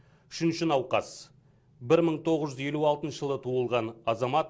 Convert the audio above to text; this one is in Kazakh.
үшінші науқас бір мың тоғыз жүз елу алтыншы жылы туылған азамат